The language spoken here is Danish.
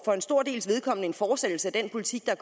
for en stor dels vedkommende en fortsættelse af den politik der